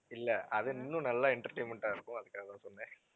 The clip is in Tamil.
இல்லை அது இன்னும் நல்லா entertainment ஆ இருக்கும் அதுக்காகத்தான் சொன்னேன்.